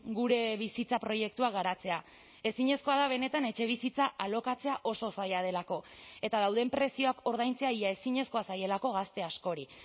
gure bizitza proiektua garatzea ezinezkoa da benetan etxebizitza alokatzea oso zaila delako eta dauden prezioak ordaintzea ia ezinezkoa zaielako gazte askori